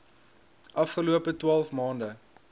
afgelope twaalf maande